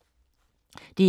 DR2